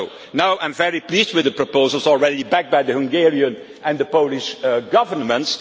Now I am very pleased with the proposals, already backed by the Hungarian and the Polish Governments.